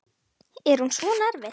Er hún svona erfið?